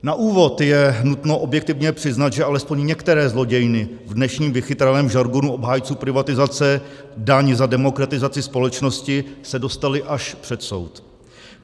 Na úvod je nutno objektivně přiznat, že alespoň některé zlodějny, v dnešním vychytralém žargonu obhájců privatizace daň za demokratizaci společnosti, se dostaly až před soud.